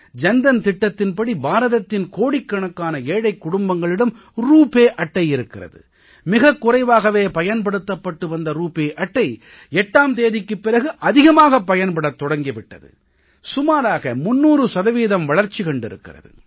ஜன் தன் திட்டத்தின்படி பாரதத்தின் கோடிக்கணக்கான ஏழைக் குடும்பங்களிடம் ரூபே அட்டை இருக்கிறது மிகக் குறைவாகவே பயன்படுத்தப்பட்டு வந்த ரூபே அட்டை 8ஆம் தேதிக்குப் பிறகு அதிகமாகப் பயன்படத் தொடங்கி விட்டது சுமாராக 300 சதவீதம் வளர்ச்சி கண்டிருக்கிறது